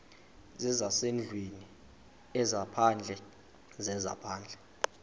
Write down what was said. zezasendlwini ezaphandle zezaphandle